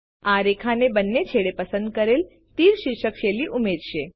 આ રેખાના બંને છેડે પસંદ કરેલ તીર શીર્ષ શૈલી ઉમેરશે